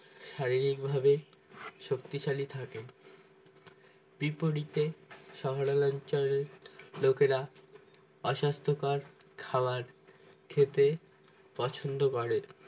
শারীরিকভাবে শক্তিশালী থাকে বিপরীতে শহরাঞ্চলের লোকেরা অস্বাস্থ্যকর খাবার খেতে পছন্দ করেন